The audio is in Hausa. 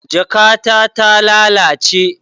Jakata ta lalace